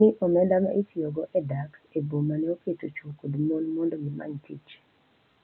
Ni omenda ma itiyogo e dak e boma ne oketo chwo kod mon mondo gimany tich.